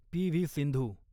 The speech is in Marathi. पी.व्ही. सिंधू